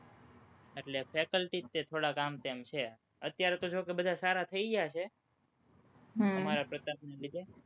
એટલે faculty જ તે, થોડાક આમતેમ છે, અત્યારે તો જોકે બધા સારા થઇ ગયા છે, અમારા પ્રતાપના લીધે